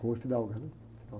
Rua, né?